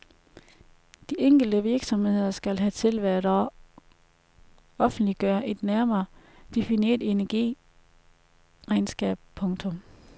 De enkelte virksomheder skal hertil hvert år offentliggøre et nærmere defineret energiregnskab. punktum